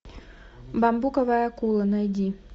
бамбуковая акула найди